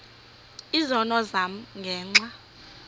izono zam ngenxa